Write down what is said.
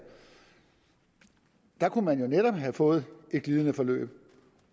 der kunne man jo netop have fået et glidende forløb